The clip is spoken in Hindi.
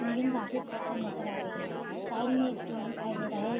बिल्डिंग काफी नजर आ रही है। साइड में एक पेड़ दिखाई दे रहा है।